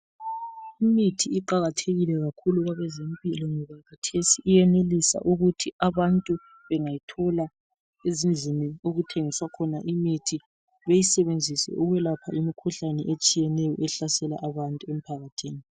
Imithi iqakathekile kakhulu kwabezempilo ngoba kathesi iyenelisa ukuthi abantu bengayithola ezindlini okuthengiswa khona imithi beyisebenzise ukwelapha imikhuhlane etshiyeneyo ehlasela abantu emphakathini.